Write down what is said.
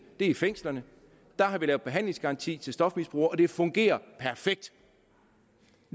er i fængslerne der har vi lavet behandlingsgaranti til stofmisbrugere og det fungerer perfekt